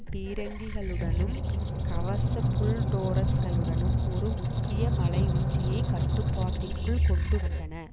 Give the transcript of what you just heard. பீரங்கிகளுடனும் கவச புல் டோரஸ்களுடனும் ஒரு முக்கிய மலையுச்சியை கட்டுப்பாட்டிற்குள் கொண்டு வந்தன